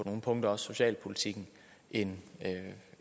nogle punkter socialpolitikken end